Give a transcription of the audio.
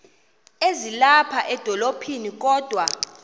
ezilapha edolophini kodwa